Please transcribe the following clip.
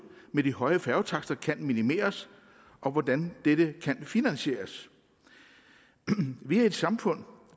med de høje færgetakster kan minimeres og hvordan dette kan finansieres vi er et samfund